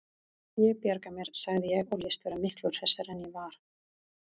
Ég bjarga mér, sagði ég og lést vera miklu hressari en ég var.